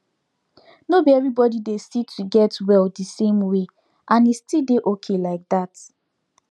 nor be everybody dey see to get well the same way and e still dey okay like that